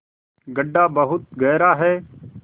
गढ्ढा बहुत गहरा है